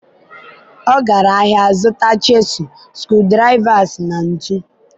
ọ gara ahịa zụta chisel, screwdrivers na ntu.